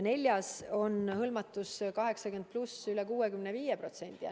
Neljas maakonnas on 80+ vanusegrupi hõlmatus üle 65%.